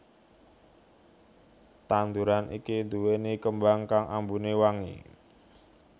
Tanduran iki duwéni kembang kang ambune wangi